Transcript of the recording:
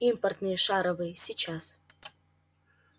импортные шаровые сейчас